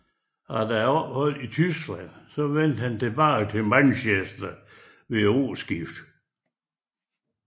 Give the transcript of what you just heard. Efter opholdet i Tyskland vendte han tilbage til Manchester ved årskiftet